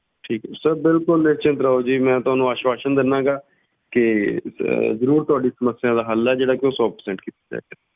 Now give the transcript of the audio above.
ਠੀਕ ਹੈ sir ਬਿਲਕੁਲ ਨਿਸ਼ਚਿੰਤ ਰਹੋ ਜੀ ਮੈਂ ਤੁਹਾਨੂੰ ਆਸਵਾਸਨ ਦਿਨਾ ਗਾ ਕਿ ਜ~ ਜ਼ਰੂਰ ਤੁਹਾਡੀ ਸਮੱਸਿਆ ਦਾ ਹੱਲ ਆ ਜਿਹੜਾ ਕਿ ਉਹ ਸੌ percent ਕੀਤਾ ਜਾਏਗਾ।